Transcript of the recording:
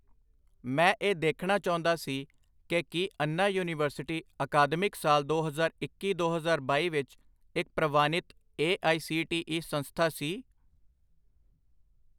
ਮੈਂ ਇਹ ਦੇਖਣਾ ਚਾਹੁੰਦਾ ਸੀ ਕਿ ਕੀ ਅੰਨਾ ਯੂਨੀਵਰਸਿਟੀ ਅਕਾਦਮਿਕ ਸਾਲ ਦੋ ਹਜ਼ਾਰ ਇੱਕੀ ਦੋ ਹਜ਼ਾਰ ਬਾਈ ਵਿੱਚ ਇੱਕ ਪ੍ਰਵਾਨਿਤ A I C T E ਸੰਸਥਾ ਸੀ?